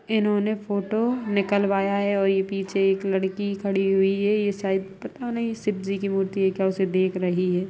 इन्होंने फोटो निकलवाया है और ये पीछे एक लड़की खड़ी हुई है ये शायद पता नहीं शिव जी की मूर्ति है क्या उसे ये देख रही है ।